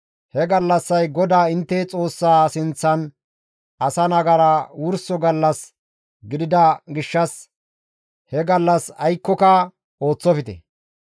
He gallassay GODAA intte Xoossa sinththan asa nagara wurso gallas gidida gishshas he gallas aykkoka ooththofte.